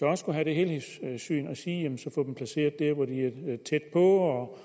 man skulle have det helhedssyn og sige jamen få